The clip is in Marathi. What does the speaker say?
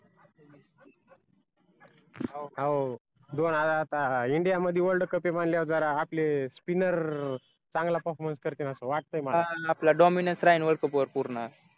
हो दोन हजार सहा india मध्ये world cup ये म्हणल्यावर जरा आपलेच spinner चांगले performance करतील असा वाटतय मला